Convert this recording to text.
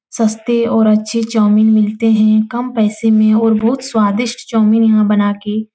सस्ते और अच्छे चौउमिन मिलते हैं। कम पैसे में और बहुत स्वादिष्ट चौउमिन यहाँ बना के --